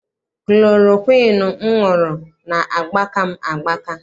Kulorokwiinu m ṅụrụ na-agbaka m agbaka.